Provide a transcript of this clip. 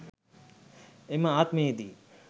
එම ආත්මයේ දී